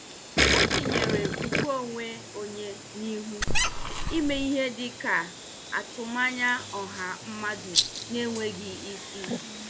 Ọ tinyere ùgwù onwe onye n'ihu ime ihe dị ka atụmanya ọha mmadụ na-enweghị isi.